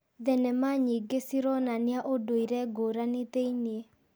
Thenema nyingĩ cironania ũndũire ngũrani thĩ-inĩ.